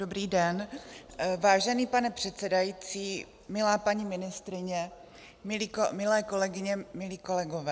Dobrý den, vážený pane předsedající, milá paní ministryně, milé kolegyně, milí kolegové.